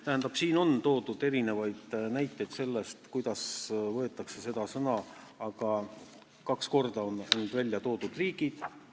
Tähendab, siin on toodud näiteid sellest, kuidas seda sõna kasutatakse, aga kaks korda on ära toodud riigid ...